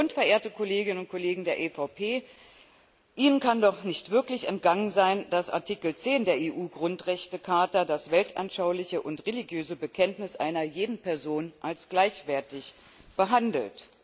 Und, verehrte Kolleginnen und Kollegen der EVP, Ihnen kann doch nicht entgangen sein, dass Artikel 10 der EU Grundrechtecharta das weltanschauliche und religiöse Bekenntnis einer jeden Person als gleichwertig behandelt.